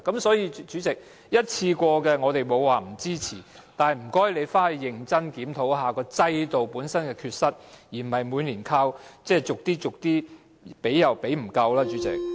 所以，主席，我們不是不支持一次過的紓困措施，但請政府認真檢討制度本身的缺失，而不是每年逐少逐少地提供，但所提供的卻又仍然不足夠。